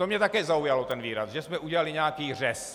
To mě také zaujalo, ten výraz, že jsme udělali nějaký řez.